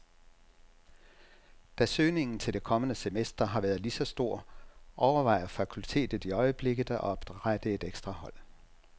Da søgningen til det kommende semester har været lige så stor, overvejer fakultetet i øjeblikket at oprette et ekstra hold.